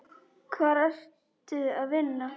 Hvar ertu að vinna?